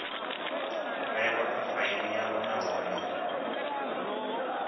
vhewa kha faili yavho nahone